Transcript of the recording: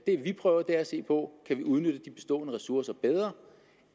vi prøver er at se på kan vi udnytte de bestående ressourcer bedre